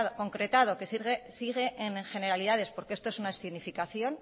concretado que sigue en generalidades porque esto es una escenificación